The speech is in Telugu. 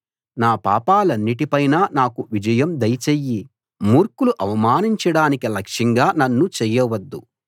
నా పాపాలన్నిటిపైనా నాకు విజయం దయచెయ్యి మూర్ఖులు అవమానించడానికి లక్ష్యంగా నన్ను చేయవద్దు